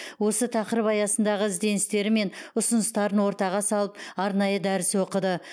осы тақырып аясындағы ізденістері мен ұсыныстарын ортаға салып арнайы дәріс оқыды